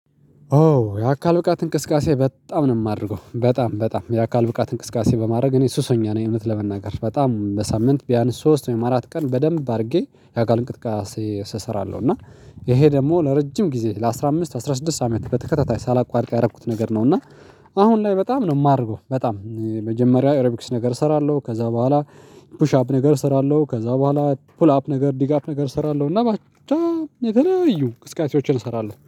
ኦ የአካል ብቃት እንቅስቃሴ በጣም ነው የማደርገው በጣም በጣም የአካል ብቃት እንቅስቃሴ በማድረግ እኔ ሱሰኛ ነኝ እውነት ለመናገር በጣም በሳምንት ቢያንስ ሶስት ወይም አራት ቀን በደንብ አድርጌ የአካል እንቅስቃሴ እሰራለሁ እና ይሄ ደግሞ ለረጅም ጊዜ ለአሥራ አምስት ለአስራ ስድስት አመት በተከታታይ ሳላቋርቅ ያደረኩት ነገር ነው። እና አሁን ላይ በጣም ነው የማረገው በጣም መጀመሪያ ኦሮቢክስ ነገር እሰራለሁ። ከዛ በኋላ ፑሽ አፕ ነገር እሰራለሁ። ከዛ በኋላ ፑል አፕ ነገር ዲግ አፕ ነገር እሰራለሁ እና በጣም የተለያዩ እንቅስካሴዎችን እሰራለሁ